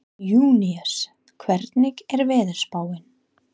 Júníus, hvernig er veðurspáin?